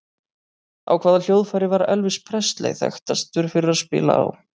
Á hvaða hljóðfæri var Elvis Presley þekktastur fyrir að spila á?